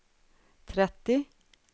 trettio